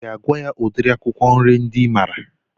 I ga-agwa ya udiri akwụkwọ nri ndị I maara?